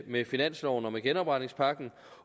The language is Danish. med finansloven og med genopretningspakken